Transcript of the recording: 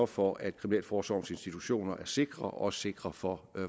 for at kriminalforsorgens institutioner er sikre og også sikre for